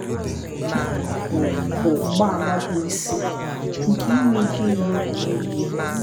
“ Nke a bụ bụ mgbaàmà bụ́ isi nke inwe ike igbu onwe onye.